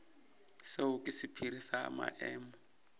seo ke sephiri sa maemo